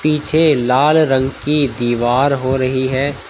पीछे लाल रंग की दीवार हो रही है।